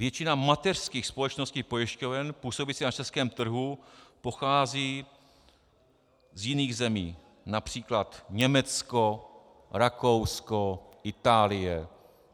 Většina mateřských společností pojišťoven působících na českém trhu pochází z jiných zemí, například Německo, Rakousko, Itálie.